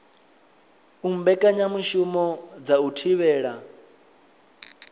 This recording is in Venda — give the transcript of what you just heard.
u mbekanyamushumo dza u thivhela